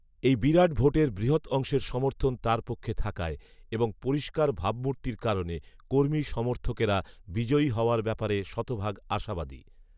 এই বিরাট ভোটের বৃহৎঅংশের সমর্থন তার পক্ষে থাকায় এবং পরিষ্কার ভাবমূর্তির কারণে কর্মী সমর্থকেরা বিজয়ী হওয়ার ব্যাপারে শতভাগ আশাবাদী